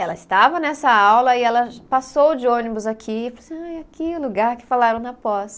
Ela estava nessa aula e ela passou de ônibus aqui e falou assim, ai aqui é o lugar que falaram na pós.